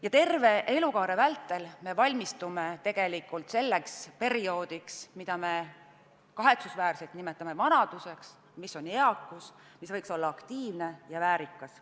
Ja terve elukaare vältel me valmistume tegelikult selleks perioodiks, mida me kahetsusväärselt nimetame vanaduseks, aga mis on eakus ja võiks olla aktiivne ja väärikas.